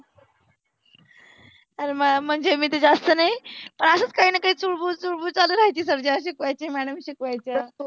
आरे मा म्हणजे मी तर जास्त नाही असच काहीना काही चुळबुळ चुळबुळ चालू रहायची सारखी. sir जेव्हा शिकवायचे madam शिकवायच्या.